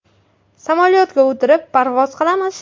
Samolyotga o‘tirib, parvoz qilamiz.